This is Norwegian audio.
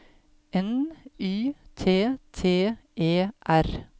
N Y T T E R